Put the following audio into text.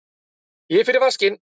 Ég fer í vaskinn.